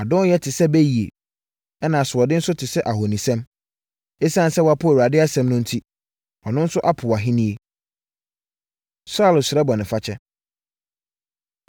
Adɔnyɛ te sɛ bayie, ɛna asoɔden nso te sɛ ahonisom. Esiane sɛ woapo Awurade asɛm no enti, ɔno nso apo wʼahennie.” Saulo Srɛ Bɔnefakyɛ